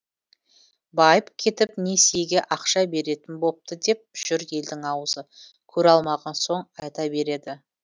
байып кетіп несиеге ақша беретін бопты деп жүр елдің аузы көре алмаған соң айта береді